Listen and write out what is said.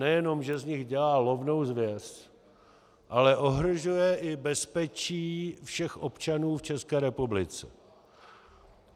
Nejenom že z nich dělá lovnou zvěř, ale ohrožuje i bezpečí všech občanů v České republice.